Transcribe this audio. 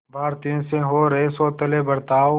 भारतीयों से हो रहे सौतेले बर्ताव